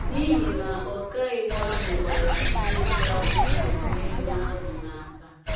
N’ihi na ọkàiwu ahụ gbara ihe ka ukwuu n’ego ahụ n’akpa.